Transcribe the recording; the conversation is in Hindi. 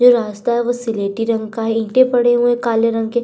जो रास्ता है वो स्लेटी रंग का है। ईटे पड़े हुए हैं काले रंग के।